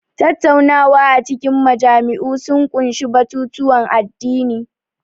Tattaunawa a cikin majami'u sun ƙunshi batutuwan addini.